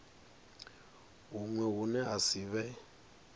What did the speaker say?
huṅwe hune ha si vhe